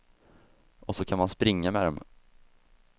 Och så kan man springa med dem.